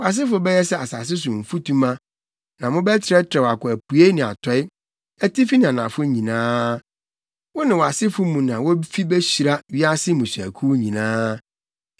Wʼasefo bɛyɛ sɛ asase so mfutuma, na mobɛtrɛtrɛw akɔ apuei ne atɔe, atifi ne anafo nyinaa. Wo ne wʼasefo mu na wofi behyira wiase mmusuakuw nyinaa.